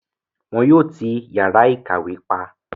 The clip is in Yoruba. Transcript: wọn yóò ti yàrá ìkàwé pa.